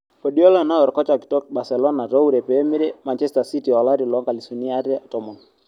Guardiol naa okocha kitok Barcelona Toure pemiri te Manchester City olari le nkalisuni ate otomon.